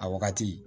A wagati